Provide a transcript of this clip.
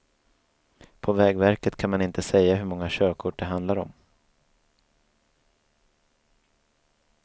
På vägverket kan man inte säga hur många körkort det handlar om.